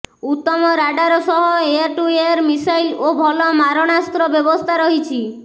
ଉତ୍ତମ radar ସହ air to air missile ଓ ଭଲ ମାରଣାସ୍ତ୍ର ବ୍ୟବସ୍ଥା ରହିଛି